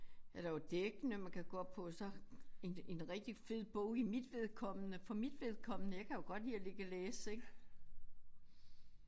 Er der jo dækkene man kan gå op på så en en rigtig fed bog i mit vedkommende for mit vedkommende jeg kan jo godt lide at ligge og læse ik